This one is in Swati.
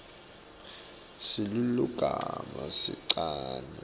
silulumagama sincane kantsi